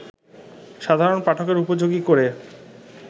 সাধারণ পাঠকের উপযোগী করে